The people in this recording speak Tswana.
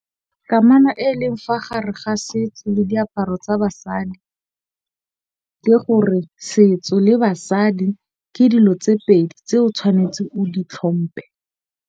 Kamana e leng fa gare ga setso le diaparo tsa basadi, le gore setso le basadi ke dilo tse pedi tse o tshwanetseng o di tlhompe.